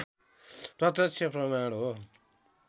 प्रत्यक्ष प्रमाण हो